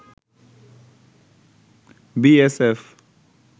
BSF